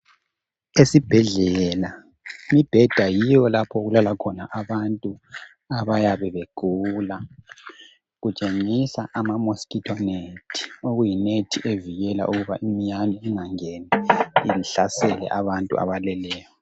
esibhedlela imibheda yiyo lapho okulala khona abantu abayabe begula kutshengisa ama mosquito net okuyi net evikela ukuba imiyane ingangeni ihlasele abantu abaleleyo